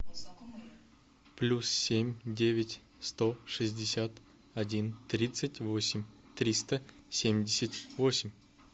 плюс семь девять сто шестьдесят один тридцать восемь триста семьдесят восемь